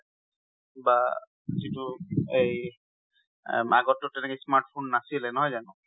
বা যিটো এই, আগত তোন তেনেকে smartphone নাছিলে, নহয় জানো?